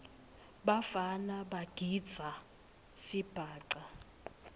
bafana bagidza sibhaca